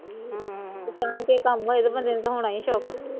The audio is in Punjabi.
ਤੇ ਜਾਣਕੇ ਕੰਮ ਹੋਏ ਤੇ ਬੰਦੇ ਨੂੰ ਤਾ ਹੋਣਾ ਈ ਸ਼ੋਕ